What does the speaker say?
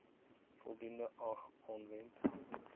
voldoende ag aanwend